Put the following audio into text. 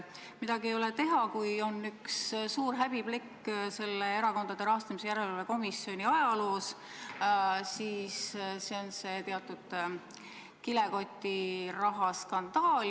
Midagi ei ole teha, kui on üks suur häbiplekk Erakondade Rahastamise Järelevalve Komisjoni ajaloos, siis see on too kilekotiraha skandaal.